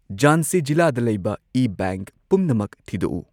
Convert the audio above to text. ꯖꯥꯟꯁꯤ ꯖꯤꯂꯥꯗ ꯂꯩꯕ ꯏ ꯕꯦꯡꯛ ꯄꯨꯝꯅꯃꯛ ꯊꯤꯗꯣꯛꯎ